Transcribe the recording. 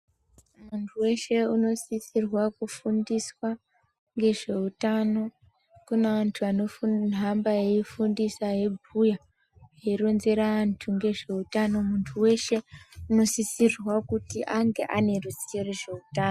Munthu weshe unosisira kufundiswa ngezveutano kune vanthu vanohamba veifundisa veibhuya veironzera vanthu ngezveutano munthu weshe unosisira kuti ange ane ruzivo ngezveutano.